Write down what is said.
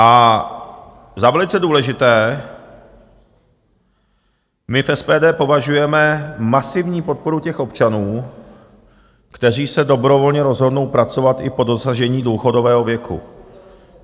A za velice důležité my v SPD považujeme masivní podporu těch občanů, kteří se dobrovolně rozhodnou pracovat i po dosažení důchodového věku.